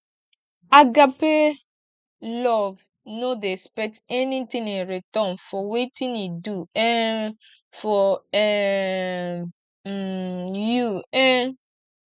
agape love no dey expect anything in return for wetin e do um for um um you um